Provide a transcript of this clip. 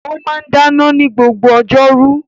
Ó máa ń dáná ní gbogbo ọjọ́ rú